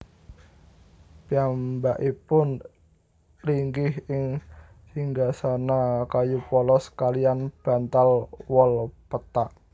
Piyambakipun linggih ing singgasana kayu polos kaliyan bantal wol pethak